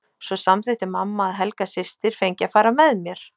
Svo samþykkti mamma að Helga systir fengi að fara með mér.